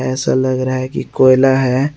ऐसा लग रहा है कि कोयला है।